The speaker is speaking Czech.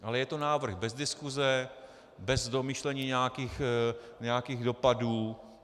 Ale je to návrh bez diskuse, bez domýšlení nějakých dopadů.